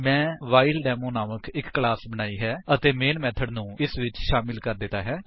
ਮੈਂ ਵ੍ਹਾਈਲਡੇਮੋ ਨਾਮਕ ਇੱਕ ਕਲਾਸ ਬਣਾਈ ਹੈ ਅਤੇ ਮੇਨ ਮੇਥਡ ਨੂੰ ਇਸ ਵਿੱਚ ਸ਼ਾਮਿਲ ਕਰ ਦਿੱਤਾ ਹੈ